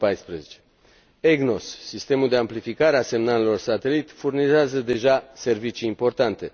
2014. EGNOS, sistemul de amplificare a semnalelor satelit, furnizează deja servicii importante.